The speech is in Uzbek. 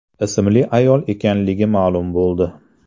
ismli ayol ekanligi ma’lum bo‘ldi.